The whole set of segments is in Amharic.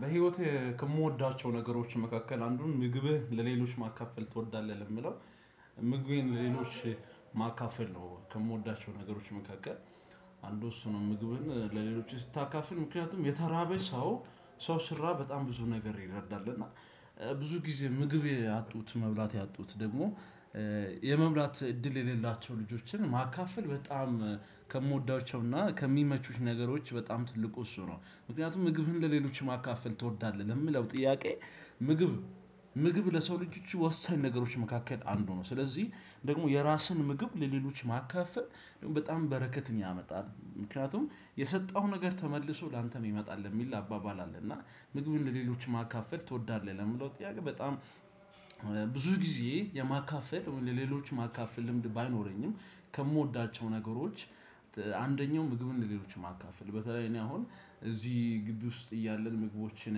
በህይወቴ ከምወዳቸው ነገሮች መካከል አንዱን ምግብህ ለሌሎች ማካፈል ትወዳለህ? ለሚለው ምግቤን ለሌሎች ማካፈል ነው። ከምወዳቸው ነገሮች መካከል አንዱ እሱ ነው። ምግብን ለሌሎች ስታካፍል ምክንያቱም የተራበ ሰው ሰው ሲራብ በጣም ብዙ ነገር ይረዳል። እና ብዙ ጊዜ ምግብ ያጡት መብላት ያጡት ደግሞ የመብላት እድል የሌላቸው ልጆችን ማካፈል። በጣም ከምወዳቸውና ከሚመቹኝ ነገሮች በጣም ትልቁ እሱ ነው። ምክንያቱም ምግብህን ለሌሎች ማካፈል ትወዳለህ ለምለው ጥያቄ? ምግብ ምግብ ለሰው ልጆች ወሳኝ ነገሮች መካከል አንዱ ነው። ስለዚህ ደግሞ የራስን ምግብ ለሌሎች ማካፈል በጣም በረከትን ያመጣል። ምክንያቱም የሰጠኸው ነገር ተመልሶ ላንተም ይመጣል የሚል አባባል አለ። እና ምግብን ለሌሎች ማካፈል ትወዳለህ ለሚለው ጥያቄ? በጣም ብዙ ጊዜ የማካፈል ለሌሎች ማካፈል ልምድ ባይኖረኝም። ከምወዳቸው ነገሮች አንደኛው ምግብ ለሌሎች ማካፈል በተለይ እኔ አሁን እዚህ ግቢ ውስጥ እያለን ምግቦችን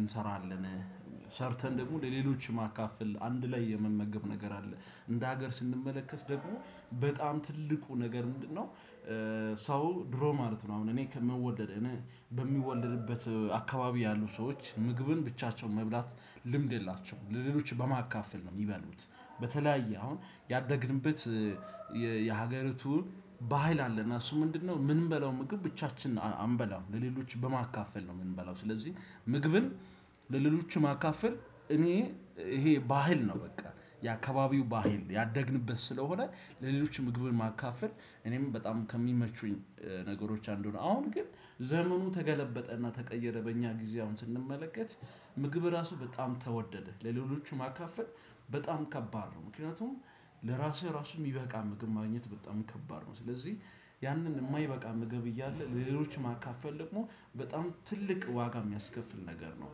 እንሰራለን። ሰርተን ደግሞ ለሌሎች ማካፈል አንድ ላይ የመመገብ ነገር አለ። እንደ ሀገር ስንመለከት ደግሞ በጣም ትልቁ ነገር ምንድነው? ሰው ድሮ ማለት ነው አሁን እኔ ከመወለድ በሚወለድበት አካባቢ ያሉ ሰዎች ምግብን ብቻቸውን መብላት ልምድ የላቸውም ለሌሎች በማካፈል ነው የሚበሉት። በተለያየ አሁን ያደግንበት የሀገሪቱን ባህል አለና እሱ ምንድነው የምንበላው ምግብ ብቻችንን አንበላውም ለሌሎች በማካፈል ነው የምንበላው። ስለዚህ ምግብን ለሌሎች ማካፈል እኔ ይሄ ባህል ነው። በቃ የአካባቢው ባህል ያደግንበት ስለሆነ ለሌሎች ምግብን ማካፈል እኔም በጣም ከሚመቹኝ ነገሮች አንዱ ነው። አሁን ግን ዘመኑ ተገለበጠ እና ተቀየረ በእኛ ጊዜ አሁን ስንመለከት ምግብ ራሱ በጣም ተወደደ ለሌሎቹ ማካፈል በጣም ከባድ ነው። ምክንያቱም ለራስህ ራሱ የሚበቃ ምግብ ማግኘት በጣም ከባድ ነው። ስለዚህ ያንን የማይበቃ ምግብ እያለ ለሌሎች ማካፈል ደግሞ በጣም ትልቅ ዋጋ የሚያስከፍል ነገር ነው።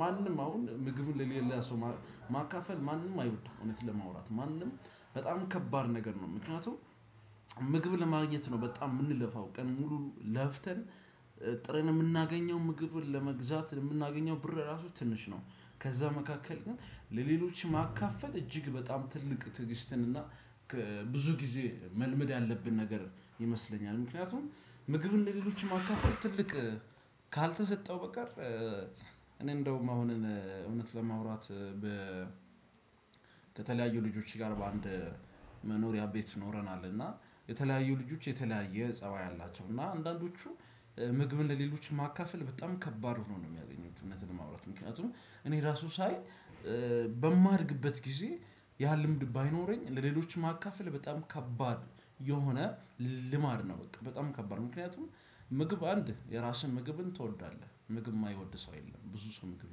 ማንም አሁን ምግብ ለሌላ ሰው ማካፈል ማንም አይወድም። እውነት ለማውራት ማንም በጣም ከባድ ነገር ነው። ምክንያቱም ምግብ ለማግኘት ነው በጣም የምንለፋው ቀን ሙሉ ለፍተን ጥረን የምናገኘው ምግብን ለመግዛት የምናገኘው ብር ራሱ ትንሽ ነው። ከዛ መካከል ግን ለሌሎች ማካፈል እጅግ በጣም ትልቅ ትዕግስትን እና ብዙ ጊዜ መልመድ ያለብን ነገር ይመስለኛል። ምክንያቱም ምግብን ሌሎችም ማካፈል ትልቅ ካልተሰጠው በቀር እንደውም አሁንን እውነት ለማውራት። ከተለያዩ ልጆች ጋር በአንድ መኖሪያ ቤት ኖረናል። እና የተለያዩ ልጆች የተለያየ ፀባይ አላቸው። እና አንዳንዶቹ ምግብን ለሌሎች ማካፈል በጣም ከባድ ሆኖ ነው የሚያገኙት። እውነት ለማውራት ምክንያቱም እኔ ራሱ ሳይ በማድግበት ጊዜ ያ ልምድ ባይኖረኝ ለሌሎችም ማካፈል በጣም ከባድ የሆነ ልማድ ነው። በቃ በጣም ከባድ ነው። ምክንያቱም ምግብ አንድ የራስን ምግብን ትወዳለህ ምግብ የማይወድ ሰው የለም። ብዙ ሰው ምግብ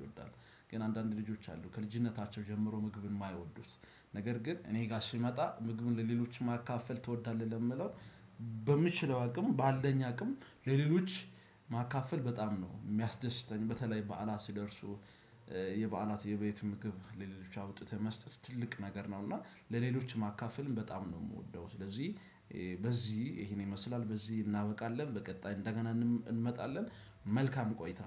ይወዳሉ ግን አንዳንድ ልጆች አሉ ከልጅነታቸው ጀምሮ ምግብን የማይወዱት። ነገር ግን እኔ ጋር ሲመጣ ምግቡን ለሌሎች ማካፈል ትወዳለህ? ለሚለው በምችለው አቅም ባለኝ አቅም ለሌሎች ማካፈል በጣም ነው የሚያስደስተኝ። በተለይ በዓላት ሲደርሱ የበዓላት የቤት ምግብ ለሌሎች አውጥተህ መስጠት ትልቅ ነገር ነው። እና ለሌሎች ማካፈልም በጣም ነው የምወደው። ስለዚህ በዚህ ይሄን ይመስላል በዚህ እናበቃለን በቀጣይ እንደገና እንመጣለን። መልካም ቆይታ።